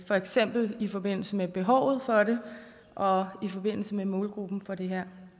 for eksempel i forbindelse med behovet for det og i forbindelse med målgruppen for det her